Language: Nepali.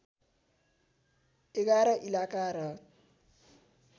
११ इलाका र